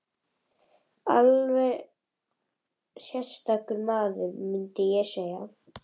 Alveg sérstakur maður, mundi ég segja.